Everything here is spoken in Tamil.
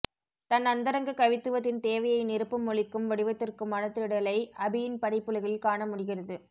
தன் அந்தரங்க கவித்துவத்தின் தேவையை நிரப்பும் மொழிக்கும் வடிவத்திற்குமான தேடலை அபியின் படைப்புலகில் காணமுடிகிறது